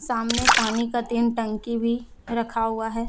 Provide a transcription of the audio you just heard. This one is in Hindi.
सामने पानी का तीन टंकी भी रखा हुआ है।